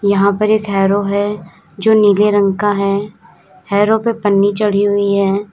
यहां पर एक हैरो है जो नीले रंग का है हैरो पे पन्नी चढ़ी हुई है।